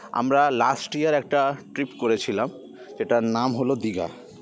আমরা last year একটা trip করেছিলাম যেটার নাম হলো দীঘা